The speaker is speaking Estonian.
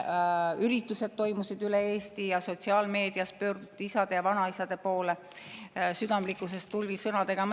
Üritused toimusid üle Eesti ja sotsiaalmeedias pöörduti isade ja vanaisade poole südamlikkusest tulvil sõnadega.